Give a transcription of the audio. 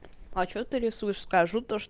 почему ты рисуешь скажу то